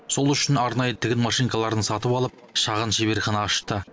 сол үшін арнайы тігін машинкаларын сатып алып шағын шеберхана ашты